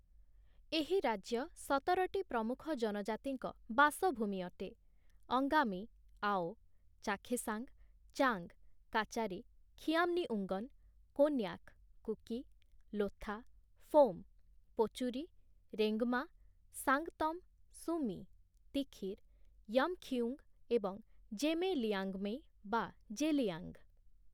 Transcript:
ଏହି ରାଜ୍ୟ ସତରଟି ପ୍ରମୁଖ ଜନଜାତିଙ୍କ ବାସଭୂମି ଅଟେ - ଅଙ୍ଗାମୀ, ଆଓ, ଚାଖେସାଙ୍ଗ, ଚାଙ୍ଗ, କାଚାରୀ, ଖିୟାମ୍ନିଉଙ୍ଗନ, କୋନ୍ୟାକ, କୁକି, ଲୋଥା, ଫୋମ, ପୋଚୁରୀ, ରେଙ୍ଗମା, ସାଙ୍ଗତମ, ସୁମି, ତିଖିର, ୟମ୍‌ଖିଉଙ୍ଗ ଏବଂ ଜେମେ-ଲିଆଙ୍ଗମୈ (ଜେଲିଆଙ୍ଗ) ।